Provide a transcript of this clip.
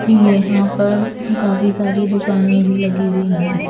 यहाँ पर काफी सारी दुकाने भी लगी हुई है।